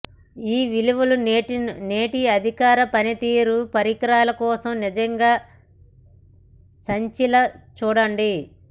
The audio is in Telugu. ఈ విలువలు నేటి అధిక పనితీరు పరికరాల కోసం నిజంగా సచ్ఛీల చూడండి